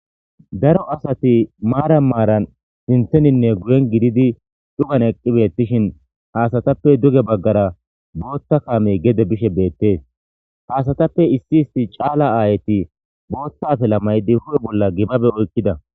daro asati maara maaran sinteninne guren gididi dhugan eqqibeettishin haasatappe duge baggara bootta kaamey gede bishe beettees haasatappe issi isti caala aayeti bootta afela maydi hu7e bolla gibabe oykkida